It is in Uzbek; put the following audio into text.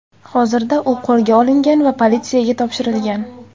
Hozirda u qo‘lga olingan va politsiyaga topshirilgan.